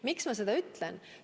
Miks ma seda ütlen?